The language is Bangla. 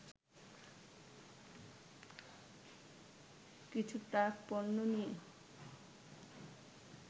কিছু ট্রাক পণ্য নিয়ে